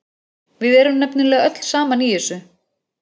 Við erum nefnilega öll saman í þessu.